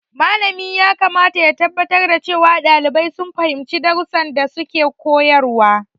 Malamin yakamata ya tabbatar da cewa ɗalibai sun fahimci darussan da suke koyarwa.